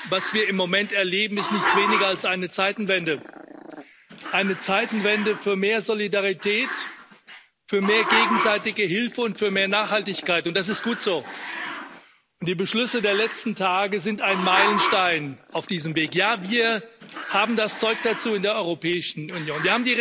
Herr Präsident! Werte Kolleginnen und Kollegen, was wir im Moment erleben, ist nichts weniger als eine Zeitenwende, eine Zeitenwende für mehr Solidarität, für mehr gegenseitige Hilfe und für mehr Nachhaltigkeit. Und das ist gut so. Die Beschlüsse der letzten Tage sind ein Meilenstein auf diesem Weg. Ja, wir haben das Zeug dazu in der Europäischen Union.